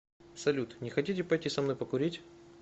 салют не хотите пойти со мной покурить